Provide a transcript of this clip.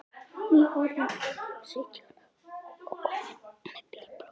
Nýorðinn sautján og kominn með bílpróf.